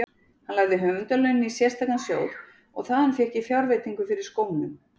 Hann lagði höfundarlaunin í sérstakan sjóð og þaðan fékk ég fjárveitingu fyrir skónum.